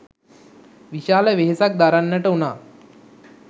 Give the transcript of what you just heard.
විශාල වෙහෙසක් දරන්නට වුණා.